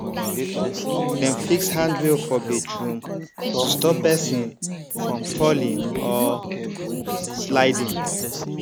dem fix handrail for bathroom to stop person from falling or sliding